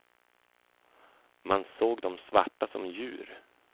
Man såg de svarta som djur.